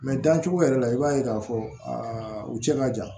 dancogo yɛrɛ la i b'a ye k'a fɔ a u cɛ ka jan